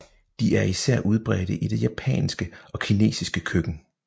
De er især udbredte i det japanske og kinesiske køkken